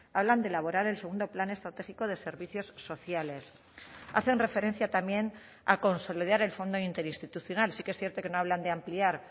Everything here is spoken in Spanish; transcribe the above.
hablan de elaborar el segundo plan estratégico de servicios sociales hacen referencia también a consolidar el fondo interinstitucional sí que es cierto que no hablan de ampliar